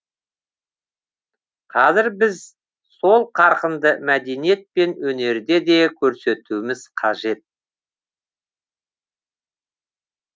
қазір біз сол қарқынды мәдениет пен өнерде де көрсетуіміз қажет